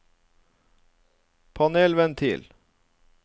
panelventil